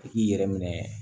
I k'i yɛrɛ minɛ